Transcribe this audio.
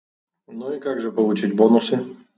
ну и как же получить бонусы